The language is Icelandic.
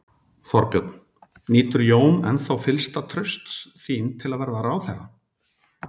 Þorbjörn: Nýtur Jón ennþá fyllsta trausts þín til að vera ráðherra?